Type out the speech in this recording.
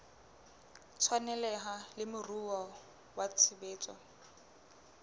tshwaneleha le moruo wa tshebetso